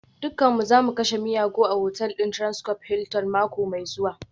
Dukanmu za mu kashe miyagu a otal ɗin Transcorp Hilton mako mai zuwa